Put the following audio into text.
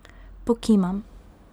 Pokimam.